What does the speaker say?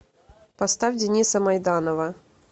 поставь дениса майданова